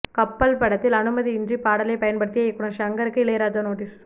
கப்பல் படத்தில் அனுமதியின்றி பாடலைப் பயன்படுத்திய இயக்குநர் ஷங்கருக்கு இளையராஜா நோட்டீஸ்